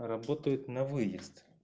работает на выезд